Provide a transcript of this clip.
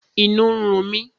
Inú ń run mi